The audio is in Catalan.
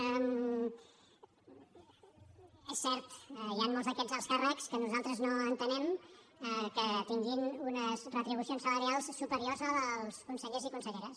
és cert hi han molts d’aquests alts càrrecs que nosaltres no entenem que tinguin unes retribucions salarials superiors a les dels consellers i conselleres